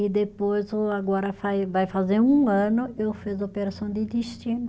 E depois o, agora faz, vai fazer um ano, eu fiz a operação de intestino.